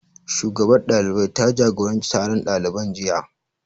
Shugabar ɗalibai ta jagoranci taron ɗaliban jiya